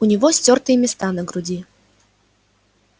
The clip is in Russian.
у него стёртые места на груди